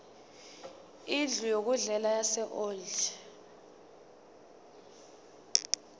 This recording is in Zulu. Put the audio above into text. indlu yokudlela yaseold